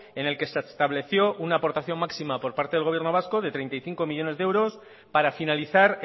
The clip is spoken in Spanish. en el que se estableció una aportación máxima por parte del gobierno vasco de treinta y cinco millónes de euros para finalizar